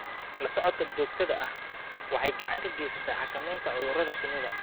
La socodka joogtada ahi waxa ay gacan ka geysataa xakamaynta cudurrada shinnida.